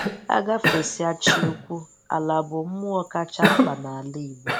A gàfesịè Chị-ukwu, àlà bụ mmụọ kacha mkpa n’ala Igbo.